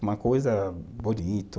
Uma coisa bonito.